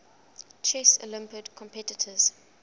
chess olympiad competitors